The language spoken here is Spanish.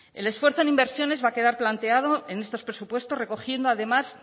el esfuerzo en inversiones va a quedar planteado en estos presupuestos recogiendo además